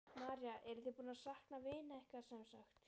María: Eruð þið búnir að sakna vina ykkar, sem sagt?